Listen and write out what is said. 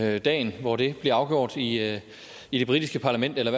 er dagen hvor det bliver afgjort i i det britiske parlament eller